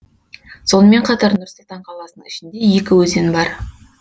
сонымен қатар нұр сұлтан қаласының ішінде екі өзен бар